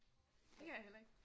Det kan jeg heller ikke